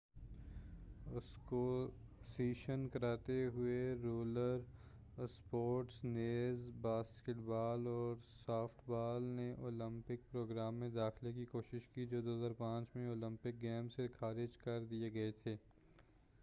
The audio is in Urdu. اسکوسیش کراتے اور رولر اسپورٹس نیز باسکیٹ بال اور سافٹ بال نے اولیمپک پروگرام میں داخلہ کی کوشش کی جو 2005 میں اولیمپک گیمس سے خارج کر دئے گئے تھے